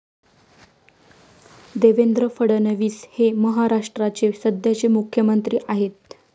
देवेंद्र फडणवीस हे महाराष्ट्राचे सध्याचे मुख्यमंत्री आहेत.